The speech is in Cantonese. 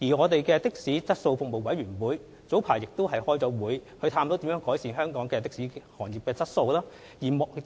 的士服務質素委員會早前曾舉行會議，探討如何改善香港的士行業的質素。